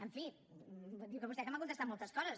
en fi diu vostè que m’ha contestat moltes coses